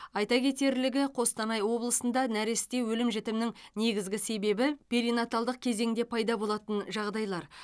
айта кетерлігі қостанай облысында нәресте өлім жітімінің негізгі себебі перинаталдық кезеңде пайда болатын жағдайлар